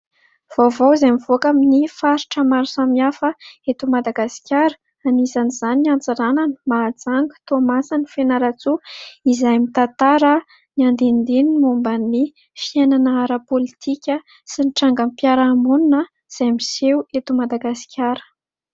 Vaovao izay mivoaka amin'ny faritra maro samihafa eto Madagasikara anisan'izany Antsiranana, Mahajanga, Toamasina, Fianarantsoa ; izay mitantara ny andinidininy momba ny fiainana ara-politika sy ny tranga-piaraha-monina izay miseho eto Madagasikara.